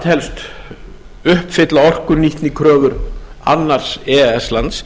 telst uppfylla orkunýtnikröfur annars e e s lands